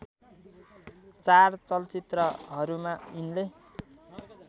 चार चलचित्रहरूमा यिनले